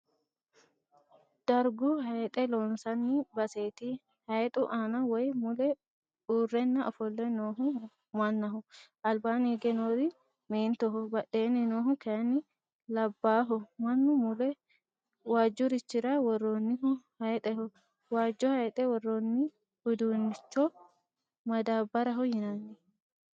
Dargu hayxe loonsanni baseeti. hayxu aana woyi mule uurrenna ofolle noohu mannaho. albanni hige noori meentoho, badheenni noohu kayinni labbaaho. mannu mule waajjurichira worroonnihu hayxeho. waajjo hayxe worroonni uduunnichcho maddaabbaraho yinanni.